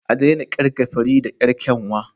A daina kirga Farida yar kyanwa